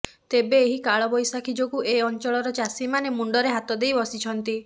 ତେବେ ଏହି କାଳବୈଶାଖୀ ଯୋଗୁଁ ଏ ଅଞ୍ଚଳର ଚାଷୀମାନେ ମୁଣ୍ଡରେ ହାତଦେଇ ବସିଛନ୍ତି